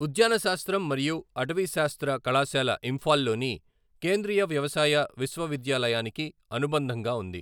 ఉద్యానశాస్త్రం మరియు అటవీశాస్త్ర కళాశాల ఇంఫాల్ లోని కేంద్రీయ వ్యవసాయ విశ్వవిద్యాలయానికి అనుబంధంగా ఉంది.